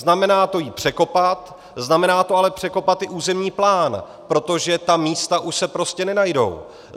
Znamená to ji překopat, znamená to ale překopat i územní plán, protože ta místa už se prostě nenajdou.